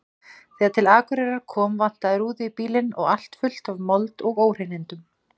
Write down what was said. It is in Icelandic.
Þegar til Akureyrar kom vantaði rúðu í bílinn og allt fullt af mold og óhreinindum.